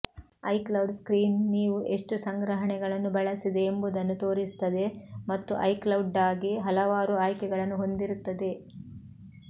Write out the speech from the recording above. iCloud screen ನೀವು ಎಷ್ಟು ಸಂಗ್ರಹಣೆಗಳನ್ನು ಬಳಸಿದೆ ಎಂಬುದನ್ನು ತೋರಿಸುತ್ತದೆ ಮತ್ತು ಐಕ್ಲೌಡ್ಗಾಗಿ ಹಲವಾರು ಆಯ್ಕೆಗಳನ್ನು ಹೊಂದಿರುತ್ತದೆ